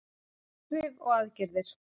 Áhrif og aðgerðir.